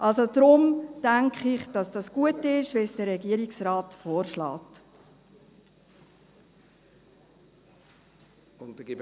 Also: Deshalb denke ich, dass es, so wie es der Regierungsrat vorschlägt, gut ist.